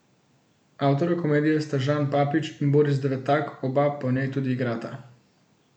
Avtorja komedije sta Žan Papić in Boris Devetak, oba pa v njej tudi igrata.